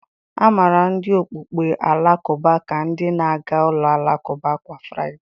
A maara ndị okpukpe Alakụba ka ndị na-aga ụlọ alakụba kwa Fraịde.